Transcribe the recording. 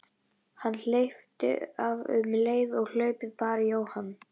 Hann hleypti af um leið og hlaupið bar í Jóhann.